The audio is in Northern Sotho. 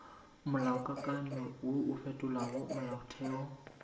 molaokakanywa wo o fetolago molaotheo